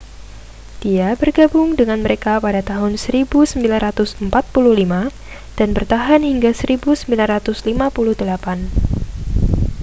dia bergabung dengan mereka pada tahun 1945 dan bertahan hingga 1958